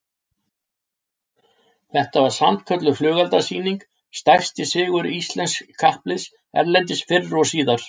Þetta var sannkölluð flugeldasýning, stærsti sigur íslensks kappliðs erlendis fyrr og síðar